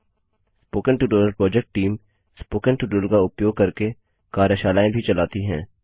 spoken tutorial project team spoken tutorial का उपयोग करके कार्यशालाएँ भी चलाती है